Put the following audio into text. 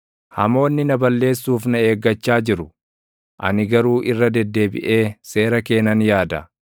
Hamoonni na balleessuuf na eeggachaa jiru; ani garuu irra deddeebiʼee seera kee nan yaada.